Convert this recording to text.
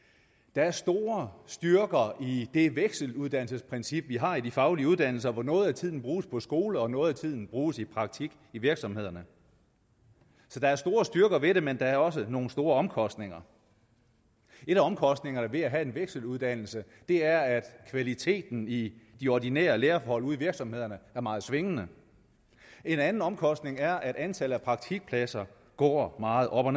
der er store styrker i det vekseluddannelsesprincip vi har i de faglige uddannelser hvor noget af tiden bruges på skole og noget af tiden bruges i praktik i virksomhederne så der er store styrker ved det men der er også nogle store omkostninger en af omkostningerne ved at have en vekseluddannelse er at kvaliteten i de ordinære lærerhold ude i virksomhederne er meget svingende en anden omkostning er at antallet af praktikpladser går meget op og